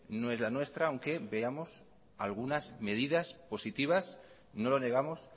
no es la nuestra aunque veamos algunas medidas positivas no lo negamos